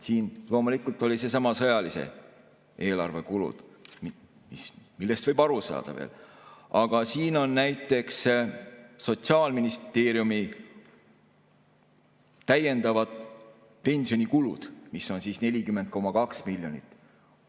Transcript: Siin on loomulikult sellesama sõjalise eelarve kulud, millest võib veel aru saada, aga siin on näiteks Sotsiaalministeeriumi täiendavad pensionikulud, mida on 40,2 miljonit.